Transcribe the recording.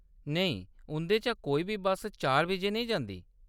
नेईं, उंʼदे चा कोई बी चार बजे नेईं जंदी ।